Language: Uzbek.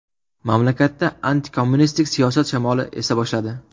Mamlakatda antikommunistik siyosat shamoli esa boshladi.